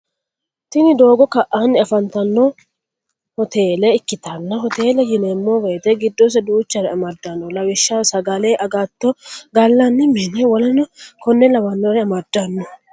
tini doogo ka'anni afantanno hotele ikkitanna hotele yineemmo woyite giddose duuchare amaddanno lawishshaho sagale, agatto, gallanni mine woleno konne lawannore amaddanno.